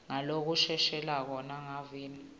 ngalokushelelako nangalokuveta imiva